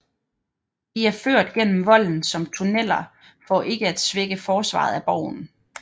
De er ført gennem volden som tunneler for ikke at svække forsvaret af borgen